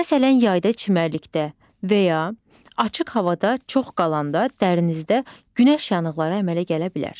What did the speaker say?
Məsələn, yayda çimərlikdə və ya açıq havada çox qalanda dərsinizdə günəş yanıqları əmələ gələ bilər.